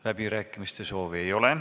Läbirääkimiste soovi ei ole.